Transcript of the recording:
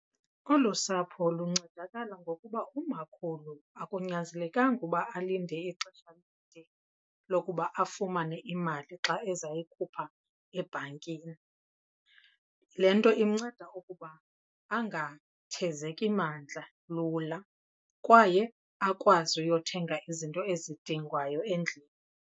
Olu sapho luncedakala ngokuba umakhulu akunyanzelekanga uba alinde ixesha elide lokuba afumane imali xa ezayikhupha ebhankini. Le nto imnceda ukuba angathezeki mandla lula kwaye akwazi uyothenga izinto ezidingwayo endlini.